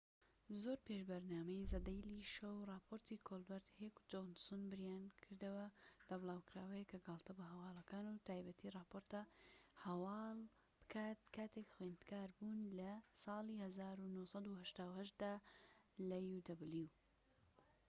زۆر پێش بەرنامەی زە دەیلی شۆ و ڕاپۆرتی کۆلبەرت، هێک و جۆنسن بیریانکردەوە لە بڵاوکراوەیەک کە گاڵتە بە هەواڵەکان و بە تایبەتی ڕاپۆرتە هەواڵ بکات کاتێک خوێندکار بوون لە uw لە ساڵی ١٩٨٨ دا